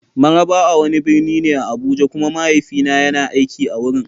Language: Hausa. Mararaba wani birni ne a Abuja kuma mahaifina yana aiki a wurin.